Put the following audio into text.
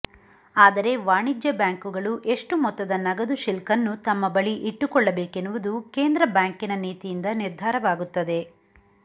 ಆದರೆ ವಾಣಿಜ್ಯ ಬ್ಯಾಂಕುಗಳು ಎಷ್ಟು ಮೊತ್ತದ ನಗದು ಶಿಲ್ಕನ್ನು ತಮ್ಮ ಬಳಿ ಇಟ್ಟುಕೊಳ್ಳಬೇಕೆನ್ನುವುದು ಕೇಂದ್ರ ಬ್ಯಾಂಕಿನ ನೀತಿಯಿಂದ ನಿರ್ಧಾರವಾಗುತ್ತದೆ